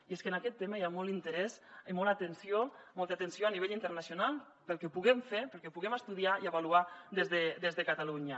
i és que en aquest tema hi ha molt interès i molta atenció a nivell internacional pel que puguem fer pel que puguem estudiar i avaluar des de catalunya